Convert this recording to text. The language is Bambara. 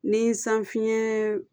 Ni san fiɲɛn